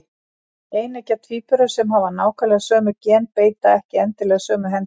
Eineggja tvíburar sem hafa nákvæmlega sömu gen beita ekki endilega sömu hendinni.